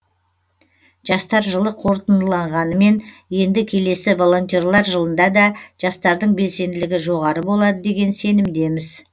жастар жылы қорытындыланғанымен енді келесі волонтерлер жылында да жастардың белсенділігі жоғары болады деген сенімдеміз